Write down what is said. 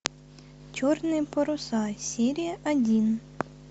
черные паруса серия один